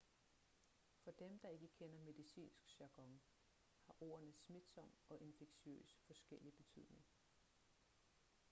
for dem der ikke kender medicinsk jargon har ordene smitsom og infektiøs forskellig betydning